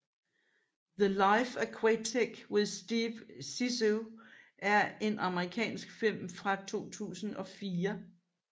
The Life Aquatic with Steve Zissou er en amerikansk film fra 2004